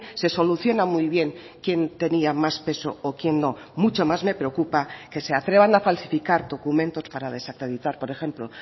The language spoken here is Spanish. se soluciona muy bien quién tenía más peso o quién no mucho más me preocupa que se atrevan a falsificar documentos para desacreditar por ejemplo